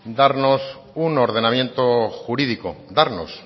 darnos un ordenamiento jurídico darnos